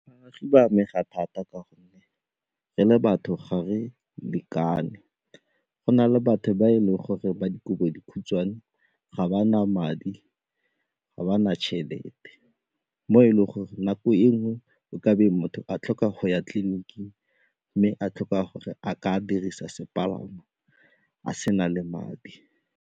Ba amega thata ka gonne re le batho ga re lekane, go na le batho ba e leng gore ba dikobodikhutshwane, ga ba na madi, ga ba tšhelete mo e leng gore nako e nngwe o ka be motho a tlhoka go ya tliliniking mme a tlhoka gore a ka dirisa sepalamo a sena le madi.